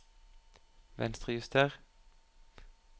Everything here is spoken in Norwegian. Venstrejuster